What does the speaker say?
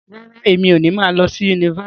Rárá, emi o ni ma lọ sí yunifásítì.